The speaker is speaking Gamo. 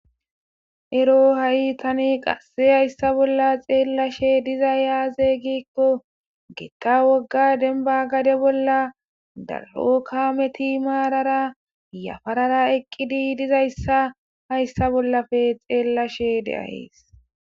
Ero ha'i tani qasse hayssa bolla xeellashe diza yaazey gikko geqqa wogga denba gade bolla daro kaameti maarara yafarara eqqidi dizayssa hayssa bollafe xeellashe de ahees.